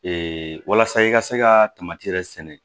walasa i ka se ka yɛrɛ sɛnɛ